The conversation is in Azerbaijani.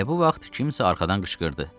Elə bu vaxt kimsə arxadan qışqırdı.